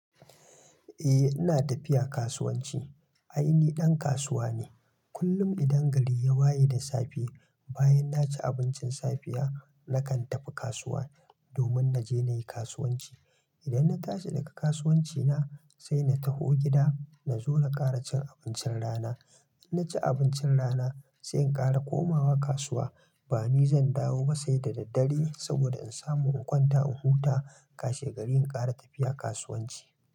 Eh ina tafiya kasuwanci. Ai ni ɗan kasuwa ne. Kullum idan gari ya waye da safe, bayan naci abincin safiya, nakan tafi kasuwa domin naje na yi kasuwanci. Idan na tashi daga kasuwanci na sai na taho gida na zo na ƙara cin abincin rana. In naci abincin rana sai in ƙara komawa kasuwa. Ba ni zan dawo ba sai da daddare saboda in samu in kwanta in huta, kashi gari in ƙara tafiya kasuwanci.